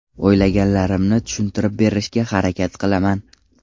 O‘ylaganlarimni tushuntirib berishga harakat qilaman.